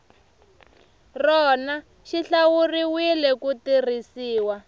rona xi hlawuriwile ku tirhisiwa